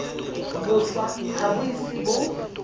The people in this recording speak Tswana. boswa ga bo ise bo